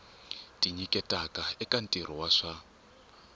tinyiketaka eka ntirho wa swa